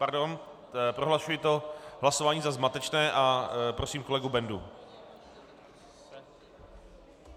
Pardon, prohlašuji toto hlasování za zmatečné a prosím kolegu Bendu.